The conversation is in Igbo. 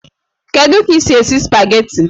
Kedu ka ị si esi spageti?